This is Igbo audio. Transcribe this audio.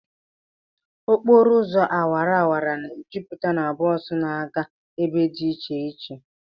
Okporo ụzọ awara awara na-ejupụta na bọs na-aga ebe dị iche iche